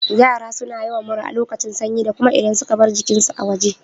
Yara suna yawan mura a lokacin sanyi da kuma idan suka bar jikin su a waje